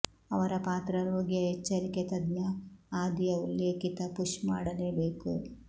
ಅವರ ಪಾತ್ರ ರೋಗಿಯ ಎಚ್ಚರಿಕೆ ತಜ್ಞ ಆದಿಯ ಉಲ್ಲೇಖಿತ ಪುಶ್ ಮಾಡಲೇಬೇಕು